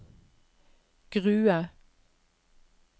Grue